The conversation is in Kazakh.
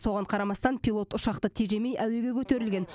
соған қарамастан пилот ұшақты тежемей әуеге көтерілген